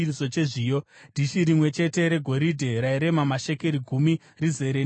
dhishi rimwe chete regoridhe rairema mashekeri gumi, rizere nezvinonhuhwira;